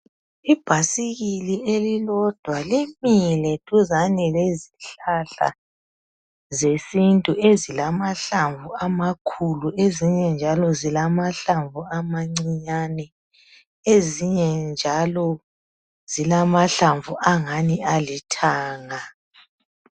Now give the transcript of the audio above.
Ibhasikili elilodwa limile duzane lezihlahla zesintu ezilamahlamvu amakhulu esinye njalo zilamahlamvu amancinyane ezinye njalo zilamahlamvu alithanga